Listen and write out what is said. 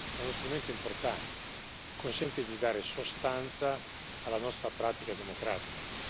è uno strumento importante consente di dare sostanza alla nostra pratica democratica